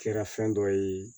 Kɛra fɛn dɔ ye